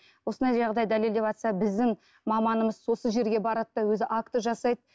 осындай жағдай дәлелдеватса біздің маманымыз осы жерге барады да өзі акт жасайды